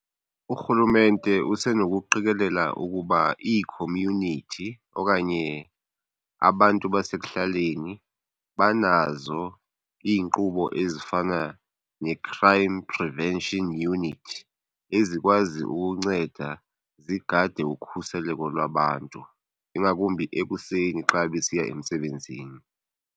Urhulumente usenokuqikelela ukuba ii-community okanye abantu basekuhlaleni banazo iinkqubo ezifana ne-crime prevention unit ezikwazi ukunceda zigade ukhuseleko lwabantu ingakumbi ekuseni xa besiya emsebenzini.